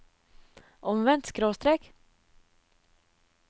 omvendt skråstrek